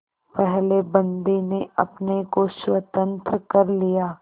पहले बंदी ने अपने को स्वतंत्र कर लिया